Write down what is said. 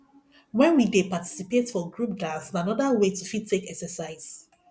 when we dey participate for group dance na anoda way to fit take exercise